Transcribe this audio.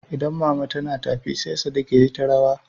Idan mama tana tafi sai Sadik yayi ta rawa.